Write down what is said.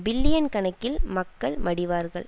billion கணக்கில் மக்கள் மடிவார்கள்